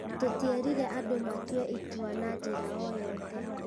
Tũtierire andũ matue itua na njĩra o yothe.